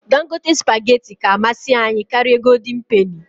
Dangote spageti ka amasị anyị karịa nke goldịn peni